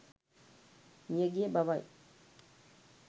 මියගිය බවයි.